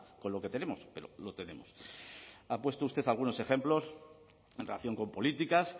con lo que tenemos pero lo tenemos ha puesto usted algunos ejemplos en relación con políticas